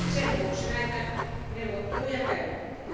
Sen vuoksi näitä neuvotteluja käydäänkin.